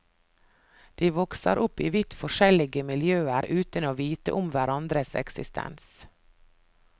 De vokser opp i vidt forskjellige miljøer uten å vite om hverandres eksistens.